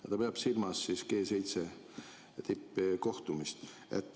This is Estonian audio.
Ja ta peab silmas G7 tippkohtumist.